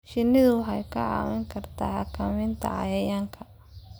Shinnidu waxay kaa caawin kartaa xakamaynta cayayaanka